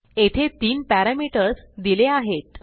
येथे तीन पॅरामीटर्स दिले आहेत